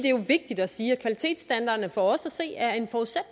er jo vigtigt at sige at kvalitetsstandarderne for os at se er